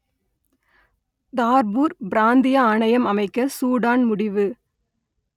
Darfur பிராந்திய ஆணையம் அமைக்க சூடான் முடிவு